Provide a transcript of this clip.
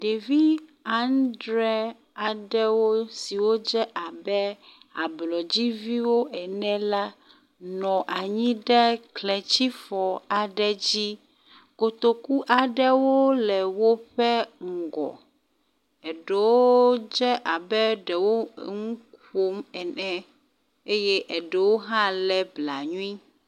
Ɖevi aŋdre aɖewo siwo dze abe ablɔdziviwo ene la nɔ anyi ɖe kletsifɔ aɖe dzi, kotoku aɖewo le woƒe ŋgɔ, eɖewo dze abe eɖewo nuƒom ene eye ɖewo hã le blanui.